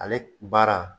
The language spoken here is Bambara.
Ale baara